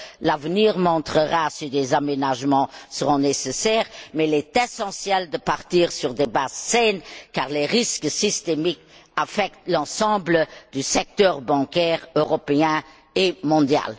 L'avenir montrera si des aménagements seront nécessaires, mais il est essentiel de partir sur des bases saines car les risques systémiques affectent l'ensemble du secteur bancaire européen et mondial.